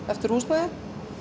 eftir húsnæði